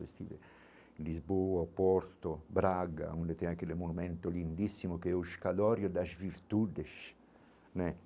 Estive em Lisboa, Porto, Braga, onde tem aquele monumento lindíssimo, que é o escadório das virtudes né.